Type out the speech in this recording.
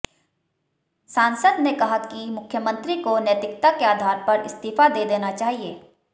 सांसद ने कहा कि मुख्यमंत्री को नैतिकता के आधार पर इस्तीफा दे देना चाहिए